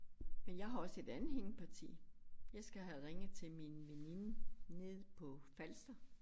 Men jeg har også et andet hængeparti jeg skal have ringet til min veninde nede på Falster